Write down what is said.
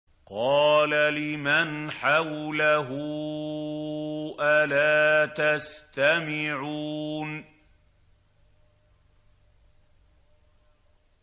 قَالَ لِمَنْ حَوْلَهُ أَلَا تَسْتَمِعُونَ